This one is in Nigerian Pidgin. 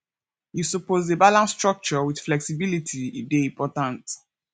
you suppose dey balance structure wit flexibility e dey important